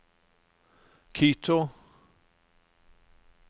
Quito